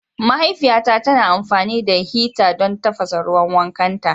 Mahaifiyata tana amfani da hita don tafasa ruwan wankanta.